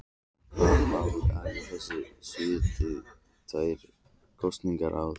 En hvaða áhrif hafa þessar sviptingar tvær kosningar í röð?